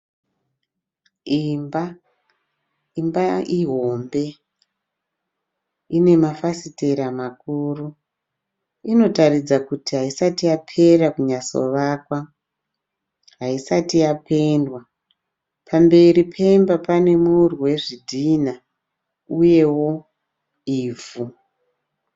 Imba, imba ihombe , ine mafasitera makuru, inotaridza kuti haisati yapera kunyatso vakwa, haisati yapendiwa pamberi pemba pane murwi wezvidhinha uye ivhu.